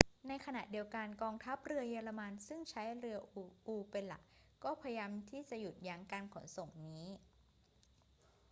ในขณะเดียวกัน กองทัพเรือเยอรมันซึ่งใช้เรืออูเป็นหลัก ก็พยายามที่จะหยุดยั้งการขนส่งนี้